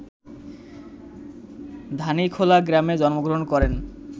ধানীখোলা গ্রামে জন্মগ্রহণ করেন